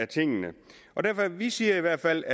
tingene vi siger i hvert fald